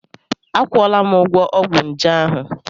Akwụọla m ụgwọ ọgwụ nje ahụ.